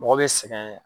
Mɔgɔ bɛ sɛgɛn